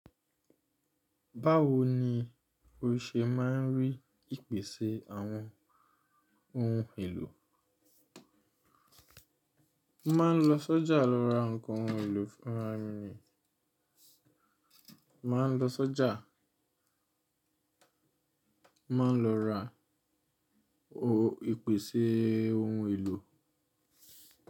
Báwo ni o ṣe ma ń rí ìpèsè àwọn ohun èlò? Ma ń lọ sọ́jà lọ ra nǹkan ohun èlò fún ra mi ni, ma ń lọ sọ́jà, ma ń lọ ra ìpèsè ohun èlò.